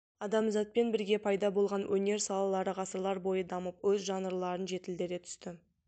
адамзатпен бірге пайда болған өнер салалары ғасырлар бойы дамып өз жанрларын жетілдіре түсті